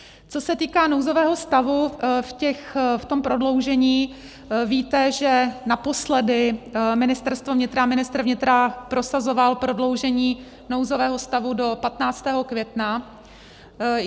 Co se týká nouzového stavu v tom prodloužení, víte, že naposledy Ministerstvo vnitra a ministr vnitra prosazoval prodloužení nouzového stavu do 15. května.